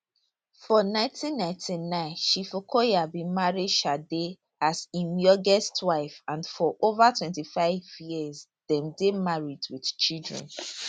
for 1999 chief okoya bin marry shade as im youngest wife and for over 25 years dem dey married wit children